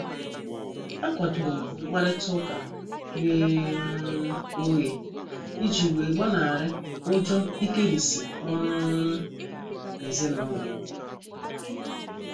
A kwadorom mkparita ụka ghe um oghe iji wee gbanari ụjọ ikerisi ọrụ um ezinụlọ.